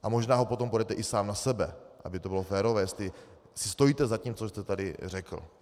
A možná ho potom podejte i sám na sebe, aby to bylo férové, jestli si stojíte za tím, co jste tady řekl.